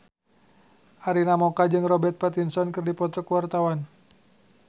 Arina Mocca jeung Robert Pattinson keur dipoto ku wartawan